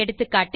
எகா